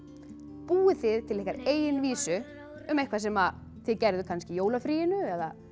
búið þið til ykkar eigin vísu um eitthvað sem þið gerðuð kannski í jólafríinu eða